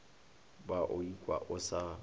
ba o ikwa o sa